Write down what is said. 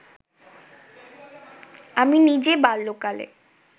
আমি নিজে বাল্যকালে